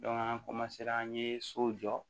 an an ye so jɔ